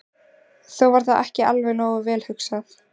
Þó var það ekki alveg nógu vel hugsað.